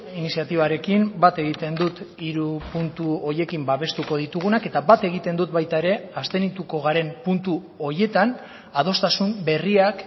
iniziatibarekin bat egiten dut hiru puntu horiekin babestuko ditugunak eta bat egiten dut baita ere abstenituko garen puntu horietan adostasun berriak